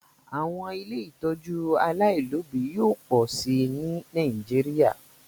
Àwọn ilé ìtọ́jú aláìlóbìí yóò pọ̀ sí ní Nàìjíríà